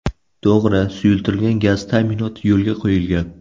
To‘g‘ri, suyultirilgan gaz ta’minoti yo‘lga qo‘yilgan.